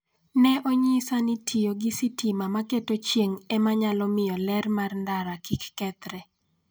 Ne onyisa ni tiyo gi sitima ma keto chieng' e ma nyalo miyo ler mar ndara kik kethre.